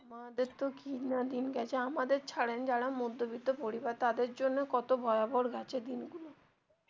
আমাদের তো কি না দিন গেছে আমাদের ছাড়েন যারা মধ্যবিত্ত পরিবার তাদের জন্য কত ভয়াবহর গেছে দিন